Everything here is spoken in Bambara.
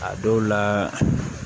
A dɔw la